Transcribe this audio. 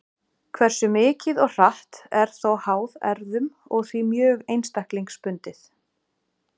Hversu mikið og hratt er þó háð erfðum og því mjög einstaklingsbundið.